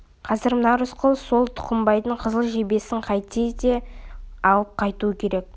қазір мына рысқұл сол тұқымбайдың қызыл жебесін қайтсе де алып қайтуы керек